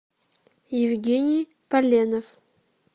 евгений поленов